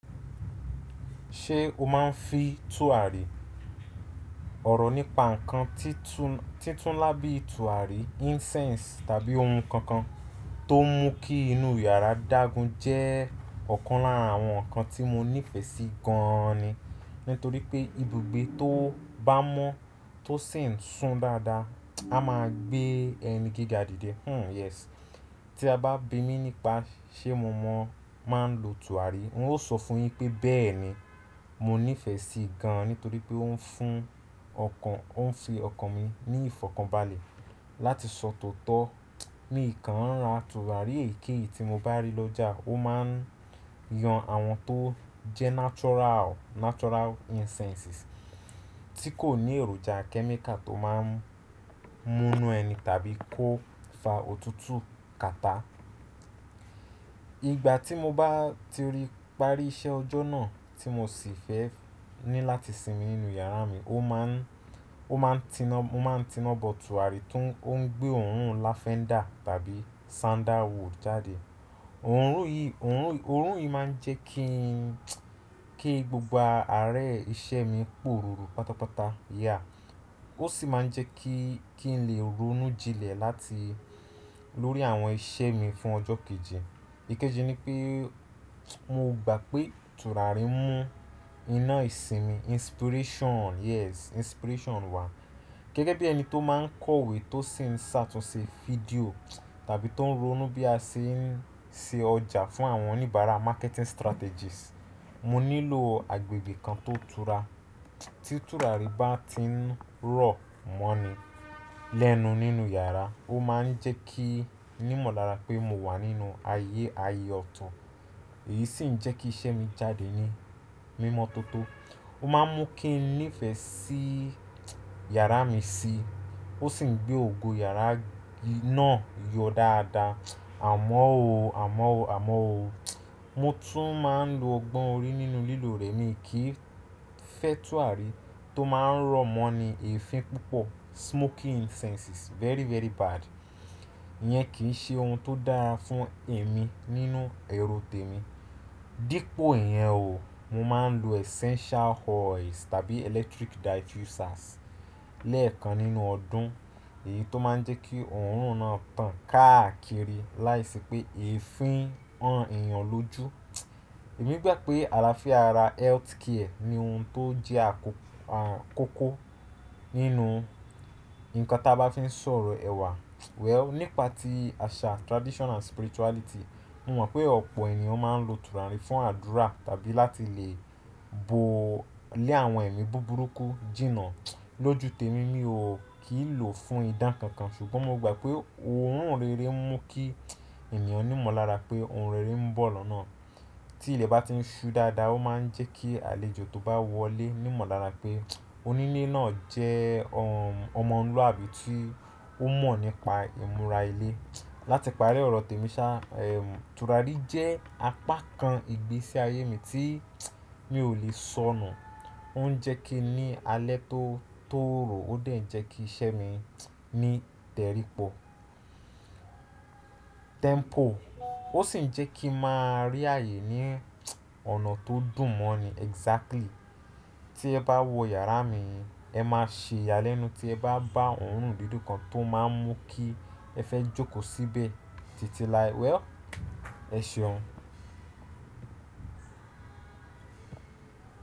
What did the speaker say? Ṣé o máa ń fi tùràrí, ọ̀rọ̀ nípa ǹkan títú-títú lábẹ́ tùràrí, incense tàbí ohun kan kan tó mú kí inú yàrá dágún jẹ́ ọ̀kan lára àwọn ǹkan tí mo nífẹ̀ẹ́ sí gan ni Nítorí pé ibùgbé tó bá mọ́ tó sì ń sún dáadáa, a máa gbé ẹni gíga dìde. Hmmm yes. Tí a bá bímí nípa ṣé mo mọ̀ máa ń lo tùràrí, n ó sọ fún yín pé bẹ́ẹ̀ ni, mo nífẹ̀ẹ́ sí i gan nítorí pé ó ń fún ọkàn, ó ń fi ọkàn mi ní ìfọ̀kànbalẹ̀ láti sọ tòótọ́. Mì kan ń ra tùràrí èyí kí èyí tí mo bá rí lọ́jà, ó máa ń yan àwọn tó jẹ́ natural, natural incenses tí kò ní èròjà kẹ́míkà tó máa ń mú inú ẹni tàbí kó fa òtútù kata. Ìgbà tí mo bá ti parí iṣẹ́ ọjọ́ náà tí mo sì fẹ́ ní láti sinmi nínú yàrá mi, ó máa ń, ó máa ń tiná, mo máa ń tiná bọ̀ tùràrí tó ń gbé òórùn lavender tàbí sandalwood jáde. Òórùn yìí, òórùn yìí máa ń jẹ́ kí ń, kí gbogbo ààrẹ iṣẹ́ mi pọ̀rùpọ̀ pátápátá, yeah. Ó sì máa ń jẹ́ kí, kí n lè ronú jinlẹ̀ láti lórí àwọn iṣẹ́ mi fún ọjọ́ kejì. Ikeji ni pé mo gbà pé tùràrí ń mú iná ìsinmi, inspiration, yes, inspiration wá. Gẹ́gẹ́ bí ẹni tó máa ń kọ̀wé tó sì ń sá tó ṣe fídíò tàbí tó ń ronú bí a ṣe ń se ọjà fún àwọn oníbàárà marketing strategies, mo nílò agbègbè kan tó tura. Tí tùràrí bá ti ń rọ̀ mọ́ ni lẹ́nu nínú yàrá, ó máa ń jẹ́ kí n mọ̀lára pé mo wà nínú ayé aye ọ̀tún, èyí sì ń jẹ́ kí iṣẹ́ mi jáde ní mímọ́ tó tó. Ó máa ń mú kí n nífẹ̀ẹ́ sí yàrá mi síi, ó sì ń gbé ògo yàrá náà yọ dáadáa. Àmọ́ ó, àmọ́ ó, àmọ́ ó, mo tún máa ń lo ọgbọ́n orí nínú lílò rẹ̀ mi kí fẹ́ tùràrí tó máa ń rọ̀ mọ́ ni èéfín púpọ̀. Smoking incenses very, very bad. Iyẹn kì í ṣe ohun tó dára fún ẹ̀mí nínú ẹrù tèmi. Dípo ìyẹn o, mo máa ń lo essential oils tàbí electric diffusers lẹ́ẹ̀kan nínú ọdún, èyí tó máa ń jẹ́ kí òórùn náà tàn káàkiri láìsí pé èéfín han èèyàn lójú. Èmi gbà pé àlàáfíà ara healthcare ni ohun tó jẹ́ àkọ́-kọ́kọ́ nínú ǹkan tí a bá fi ń sọ̀rọ̀ ẹ̀wà. Well, nípa ti àṣà traditional spirituality, mo mọ̀ pé ọ̀pọ̀ ènìyàn máa ń lo tùràrí fún àdúrà tàbí láti lè bo lé àwọn ẹ̀mí búburú kú, jìnnà. Lójú tèmi mi ò kí ń lò fún ìdán kankan ṣùgbọ́n mo gbà pé òórùn rere ń mú kí èèyàn ní mọ̀lára pé ohun rere ń bọ̀ lọ́nà. Tí ilẹ̀ bá ti ń ṣú dáadáa, ó máa ń jẹ́ kí àlejò tó bá wọlé ní mọ̀lára pé onílé náà jẹ́ ọmọ luàbí tí ó mọ̀ nípa ìmúra ilé. Látìparí ọ̀rọ̀ tèmi sá, ehm tùràrí jẹ́ apá kan ìgbésí ayé mi tí mi ò lè sọnù. Ó ń jẹ́ kí ní alẹ́ tó, tó rọ̀ ó dè ń jẹ́ kí iṣẹ́ mi ní tẹrípọ̀, tempo. Ó sì ń jẹ́ kí a máa rí ààyè ní ọ̀nà tó dùn mọ́ ni exactly. Tí ẹ bá wọ yàrá mi, ẹ má ṣe yálẹ́nu tí ẹ bá bá òórùn dídùn kan tó máa ń mú kí ẹ fẹ́ jókòó síbè titilai. Well, ẹ ṣeun.